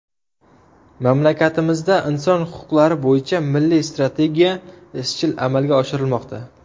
Mamlakatimizda Inson huquqlari bo‘yicha Milliy strategiya izchil amalga oshirilmoqda.